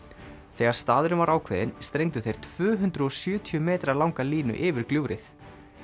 þegar staðurinn var ákveðinn strengdu þeir tvö hundruð og sjötíu metra langa línu yfir gljúfrið